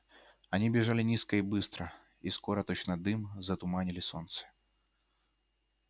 они бежали низко и быстро и скоро точно дым затуманили солнце